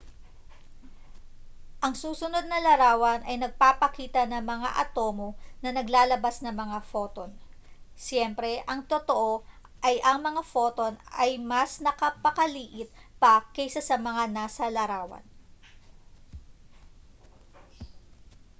ang susunod na larawan ay nagpapakita ng mga atomo na naglalabas ng mga photon siyempre ang totoo ay ang mga photon ay mas napakaliit pa kaysa sa mga nasa larawan